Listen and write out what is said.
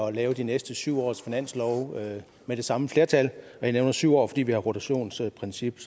at lave de næste syv års finanslove med det samme flertal og jeg nævner syv år fordi vi har et rotationsprincip